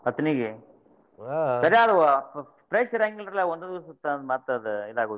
ಅತ್ಣಿಗೆ ಕರೆ ಆದ್ fresh ಇರಾಂಗಿಲ್ರಿಲಾ ಒಂದ್ ದಿವಸಕ್ಕ್ ಮತ್ ಇದ ಆಗುದಿಲ್ಲ.